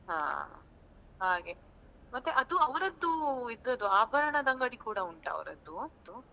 ಹಾ ಹಾಗೆ ಮತ್ತೆ ಅದು ಅವರದ್ದು ಇದ್ದದ್ದು ಆಭರಣದ ಅಂಗಡಿ ಕೂಡ ಉಂಟಾ ಅವರದ್ದು?